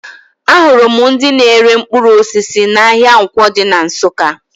Ahụrụ m ndị na-ere mkpụrụ osisi n'ahịa Nkwọ dị na Nsụka